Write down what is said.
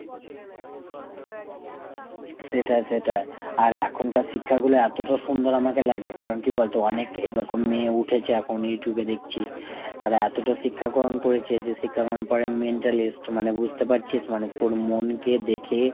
সেটাই সেটাই। আর এখনকার শিক্ষাগুলো এতটা সুন্দর আমাকে লাগে কারণ কী বলতো অনেক এরকম মেয়ে উঠেছে এখন Youtube এ দেখছি। তারা এতটা শিক্ষা গ্রহণ করেছে যে শিক্ষা গ্রহণের পরে mentalist মানে বুঝতে পারছিস মানে তোর মন কে দেখে,